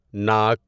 ناک